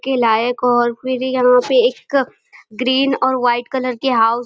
के लायक और फिर यहाँ पे एक अ ग्रीन और वाइट कलर के हाउस --